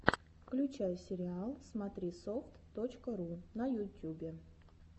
включай сериал смотрисофт точка ру на ютюбе